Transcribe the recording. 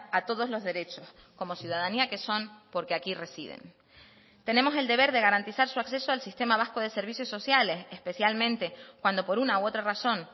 a todos los derechos como ciudadanía que son porque aquí residen tenemos el deber de garantizar su acceso al sistema vasco de servicios sociales especialmente cuando por una u otra razón